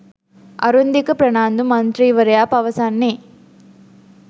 අරුන්දික ප්‍රනාන්දු මන්ත්‍රීවරයා පවසන්නේ